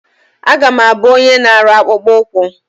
A ga m abụ onye na-arụ akpụkpụ ụkwụ.